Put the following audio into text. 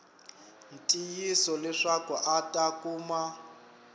ntiyiso leswaku a ta kuma